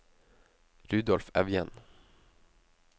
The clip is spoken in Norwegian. Rudolf Evjen